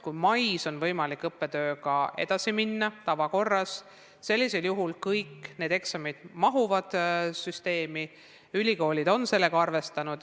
Kui mais on võimalik õppetööga edasi minna tavakorras, siis mahuvad kõik eksamid süsteemi ja ülikoolid on sellega arvestanud.